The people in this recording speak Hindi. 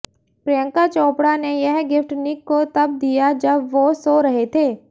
प्रियंका चोपड़ा ने यह गिफ्ट निक को तब दिया जब वो सो रहे थे